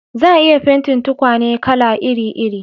Za a iya fentin tukwane kala iri iri